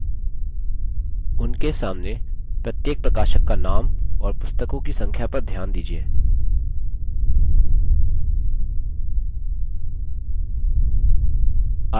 उनके सामने प्रत्येक प्रकाशक का names और पुस्तकों की संख्या पर ध्यान दीजिये